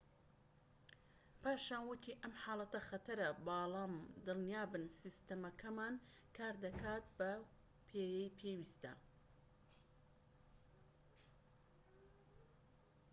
پاشان وتی ئەم حاڵەتە خەتەرە بەڵام دڵنیابن سیستەمەکەمان کار دەکات بەو پێیەی پێویستە